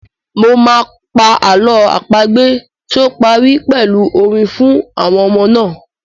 Mo máa pa àlọ́ àpagbè tí ó parí pẹ̀lú orin fún àwọn ọmọ náà.